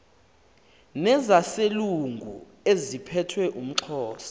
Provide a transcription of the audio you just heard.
nezaselungu eziphethe umxhosa